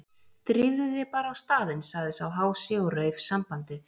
Drífðu þig bara á staðinn- sagði sá hási og rauf sambandið.